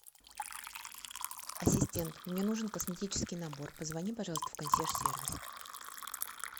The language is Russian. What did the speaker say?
ассистент мне нужен косметический набор позвони пожалуйста в консьерж сервис